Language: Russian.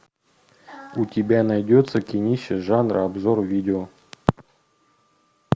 у тебя найдется кинище жанра обзор видео